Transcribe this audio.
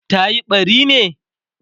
tayi ɓari ne?